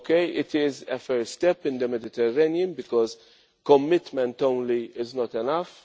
It is a first step in the Mediterranean because commitment alone is not enough